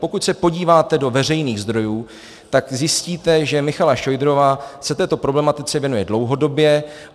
Pokud se podíváte do veřejných zdrojů, tak zjistíte, že Michaela Šojdrová se této problematice věnuje dlouhodobě.